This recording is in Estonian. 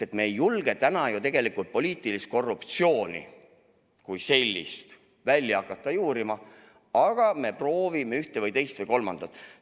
Sest me ei julge täna tegelikult poliitilist korruptsiooni kui sellist hakata välja juurima, aga me proovime ühte, teist või kolmandat.